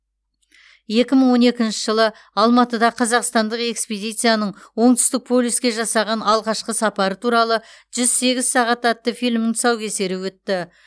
екі мың он екінші жылы алматыда қазақстандық экспедицияның оңтүстік полюске жасаған алғашқы сапары туралы жүз сегіз сағат атты фильмнің тұсаукесері өтті